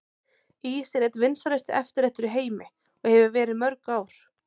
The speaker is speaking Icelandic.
Ís er einn vinsælasti eftirréttur í heimi og hefur verið í mörg ár.